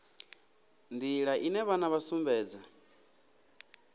nḓila ine vhana vha sumbedza